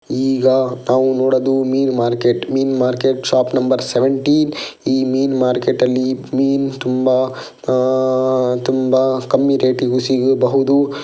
ಈಗ ನಾವು ನೋಡೋದು ಮೀನ್ ಮಾರ್ಕೆಟ್ ಮೀನ್ ಮಾರ್ಕೆಟ್ ಶಾಪ್ ನಂಬರ್ ಸೇವೆಂಟೀನ್ ಈ ಮೀನ್ ಮಾರ್ಕೆಟ್ ಅಲ್ಲಿ ಮೀನ್ ತುಂಬಾ ಅಹ್ ತುಂಬಾ ಕಮ್ಮಿ ರೇಟಿಗೂ ಸಿಗಬಹುದು.